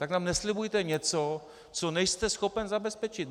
Tak nám neslibujte něco, co nejste schopen zabezpečit.